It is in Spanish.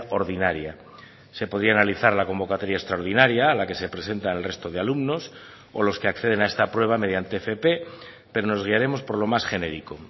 ordinaria se podía analizar la convocatoria extraordinaria a la que se presenta el resto de alumnos o los que acceden a esta prueba mediante fp pero nos guiaremos por lo más genérico